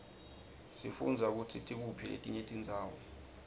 sifundza kutsi tikuphi letinye tindzawo